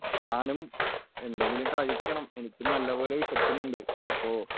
ഞാനും എന്തെങ്കിലും കഴിക്കണം എനിക്കും നല്ലപോലെ വിശക്കുന്നുണ്ട്. അപ്പോ